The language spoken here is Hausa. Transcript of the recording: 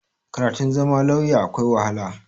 Karatun zama lauya akwai wahala.